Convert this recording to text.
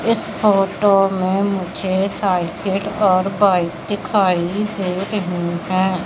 इस फोटो में मुझे साइकिल और बाइक दिखाई दे रहीं हैं।